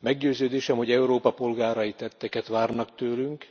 Meggyőződésem, hogy Európa polgárai tetteket várnak tőlünk,